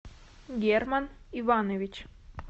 герман иванович